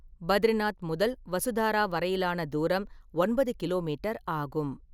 பத்ரிநாத் முதல் வசுதாரா வரையிலான தூரம் ஒன்பது கிலோமீட்டர் ஆகும்.